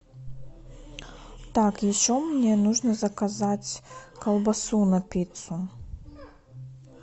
так еще мне нужно заказать колбасу на пиццу